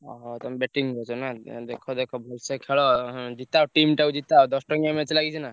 ଓହୋ ତମେ batting କରୁଛ ନାଁ ଦେଖ ଭଳସେ ଖେଳ ଜିତ ଜିତ ଟିମ ତାକୁ ଜିତାଅ ଦଶଟାଙ୍କିଆ match ଲାଗିଛି ନାଁ।